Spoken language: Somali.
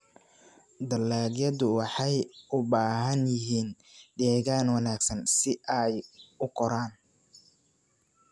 Dalagyadu waxay u baahan yihiin deegaan wanaagsan si ay u koraan.